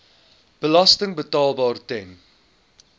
belasting betaalbaar ten